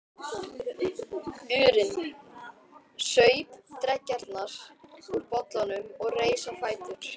urinn, saup dreggjarnar úr bollanum og reis á fætur.